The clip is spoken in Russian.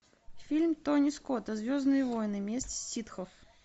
фильм тони скота звездные войны месть ситхов